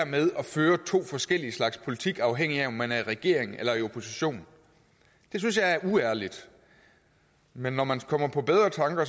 med at føre to forskellige slags politik afhængigt af om man er i regering eller i opposition det synes jeg er uærligt men når man kommer på bedre tanker